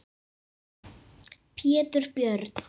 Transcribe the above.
Pétur Björn.